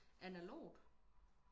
analogt